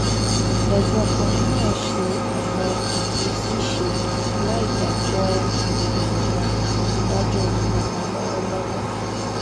ẹgbọn ọkùnrin náà ṣe ọnà ìfisíìṣe láì dájọ ipò wọn dájọ ipò wọn lọwọlọwọ